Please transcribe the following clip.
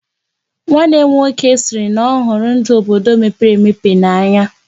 Nwanne m nwoke sịrị na ọhụrụ ndụ obodo mepere emepe n'anya.